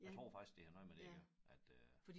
Jeg tror faktisk det har noget med det at gøre at øh